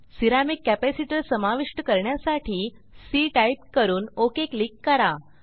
ceramic capacitor समाविष्ट करण्यासाठी C type करून ओक क्लिक करा